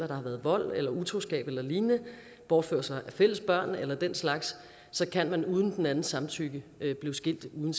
der har været vold eller utroskab eller lignende bortførsler af fælles børn eller den slags så kan man uden den andens samtykke blive skilt uden